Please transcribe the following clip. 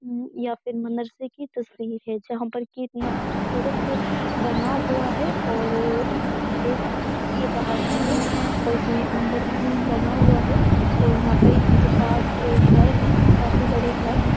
या फिर मदरसे की तस्वीर है जहाँ पर कि इतना खूबसूरत बना हुआ है और यहाँ से देख रहे हैं ये बाहर का है और इसमें अंदर भी बना हुआ है और यहाँ पर इसके पास घर हैं काफी बड़े घर हैं।